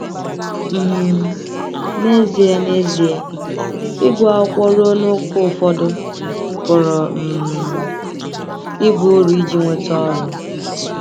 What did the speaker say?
um N’ezie N’ezie, ịgụ akwụkwọ ruo n’ókè ụfọdụ pụrụ um ịba uru iji nweta ọrụ.